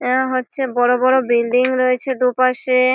এবং হচ্ছে বড়ো বড়ো বিল্ডিং রয়েছে দুপাশে।